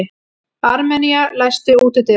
Armenía, læstu útidyrunum.